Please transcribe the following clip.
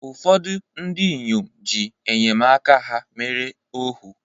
ụfọdụ ndị inyom ji enyemaka ha mere ohu